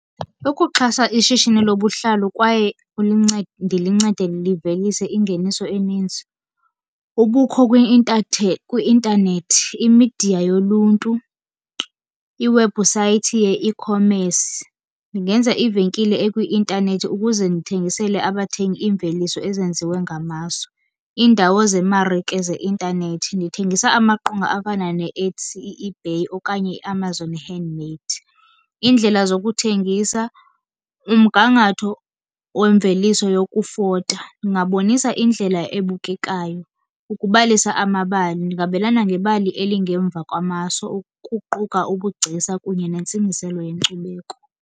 Ukuxhasa ishishini lobuhlalu kwaye ndilincede livelise ingeniso eninzi, ubukho kwi-intanethi, imidiya yoluntu, iwebhusayithi ye-ecommerce. Ndingenza ivenkile ekwi-intanethi ukuze ndithengisele abathengi iimveliso ezenziwe ngamaso. Iindawo zemarike zeintanethi, ndithengisa amaqonga afana neEtsy, eBay okanye iAmazon Handmade. Iindlela zokuthengisa, umgangatho wemveliso yokufota ingabonisa indlela ebukekayo. Ukubalisa amabali, ndingabelana ngebali elingemva kwamaso ukuquka ubugcisa kunye nentsingiselo yenkcubeko.